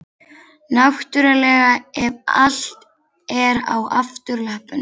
Náttúrlega ef allt er á afturlöppunum.